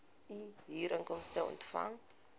u huurinkomste ontvang